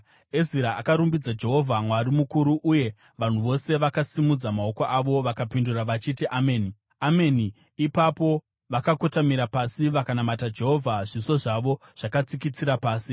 Ezira akarumbidza Jehovha, Mwari mukuru; uye vanhu vose vakasimudza maoko avo vakapindura vachiti, “Ameni! Ameni!” Ipapo vakakotamira pasi vakanamata Jehovha zviso zvavo zvakatsikitsira pasi.